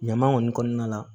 Ɲama kɔni kɔnɔna la